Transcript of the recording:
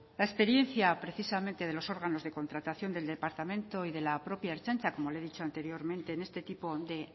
la experiencia precisamente de los órganos de contratación del departamento y de la propia ertzaintza como le he dicho anteriormente en este tipo de